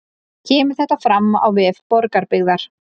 Kemur þetta fram á vef Borgarbyggðar